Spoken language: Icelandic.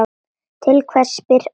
Til hvers spyr Palli.